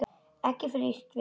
Ekki frítt við það!